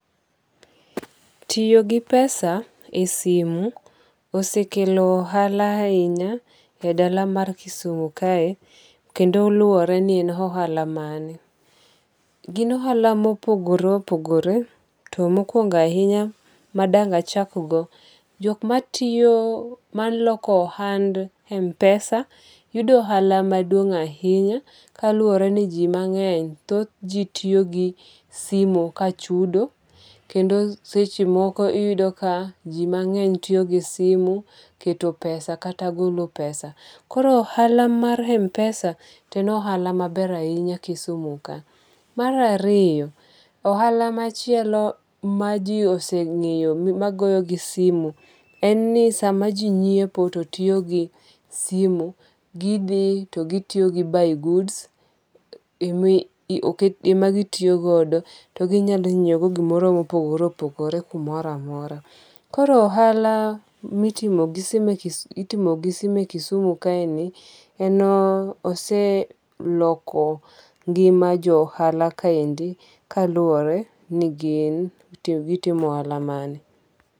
Tiyo gi pesa e simu osekelo ohala ahinya e dala mar Kisumo kae kendo luwore ni e ohala mane. Gin ohala mopogore opogore. To mokwongo ahinya ma dang' achak go. Jok matiyo malok ohand MPesa yudo ohala maduong' ahinya kalure ni ji mang'eny. Thoth ji tiyo gi simu ka chudo. Kendo seche moko iyudo ka ji mang'eny tiyo gi simu keto pesa kata golo pesa. Koro ohala mar MPesa to en ohala maber ahinya Kisumo ka. Mar ariyo, ohala machielo ma ji oseng'eyo magoyo gi simu en ni sama ji nyiepo to tiyo gi simu. Gidhi to gitiyo gi Buy Goods. Ema gitiyo godo. To ginyalo nyiew godo gimoro mopogore opogore kumoro amora. Koro ohala mitimo gi simu Kisumo kaendi oseloko ngima jo ohala kaendi kaluwore ni gitimo ohala mane.